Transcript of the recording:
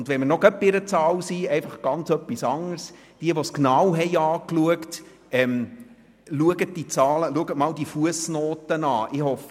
Und wenn wir noch gerade bei einer Zahl sind, noch ganz etwas anderes: Schauen Sie sich die Zahlen, die Fussnoten einmal an.